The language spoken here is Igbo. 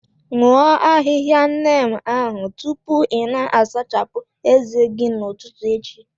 Aṅụ ahịhịa Neem ahụ tupu ị na-asachapụ ezé gị n'ụtụtụ echi!